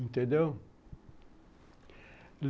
Entendeu?